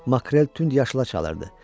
Makrel tünd yaşıla çalırdı.